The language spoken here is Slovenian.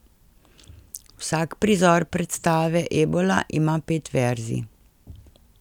Vsak prizor predstave Ebola ima pet verzij.